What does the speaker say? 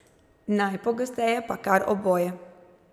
Najpogosteje pa kar oboje.